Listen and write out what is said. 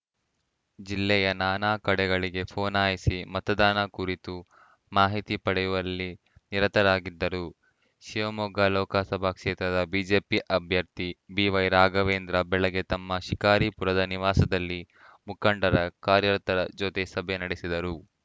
ಜಿಲ್ಲೆಯ ನಾನಾ ಕಡೆಗಳಿಗೆ ಫೋನಾಯಿಸಿ ಮತದಾನ ಕುರಿತು ಮಾಹಿತಿ ಪಡೆಯುವಲ್ಲಿ ನಿರತರಾಗಿದ್ದರು ಶಿವಮೊಗ್ಗ ಲೋಕಸಭಾ ಕ್ಷೇತ್ರದ ಬಿಜೆಪಿ ಅಭ್ಯರ್ಥಿ ಬಿವೈರಾಘವೇಂದ್ರ ಬೆಳಗ್ಗೆ ತಮ್ಮ ಶಿಕಾರಿಪುರದ ನಿವಾಸದಲ್ಲಿ ಮುಖಂಡರ ಕಾರ್ಯತರ ಜೊತೆ ಸಭೆ ನಡೆಸಿದರು